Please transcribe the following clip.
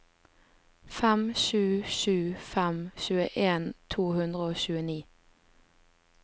fem sju sju fem tjueen to hundre og tjueni